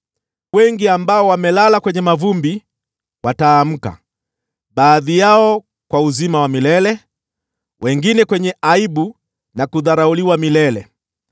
Wengi ambao wamelala kwenye mavumbi wataamka, baadhi yao kwa uzima wa milele, wengine kwa aibu na kudharauliwa milele.